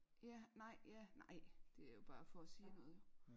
Ja nej ja nej det er jo bare for at sige noget jo